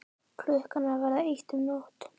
Klukkan að verða eitt um nótt!